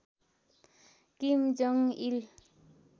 किम Jong इल